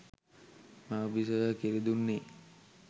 මවු බිසොව කිරි දුන්නේ